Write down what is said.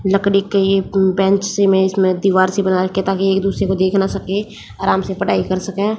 लकड़ी के ये उम बेंच से में इसमें दीवार से बनाया ताकि एक दूसरे को देख ना सके आराम से पढ़ाई कर सके।